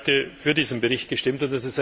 Ich habe heute für diesen Bericht gestimmt.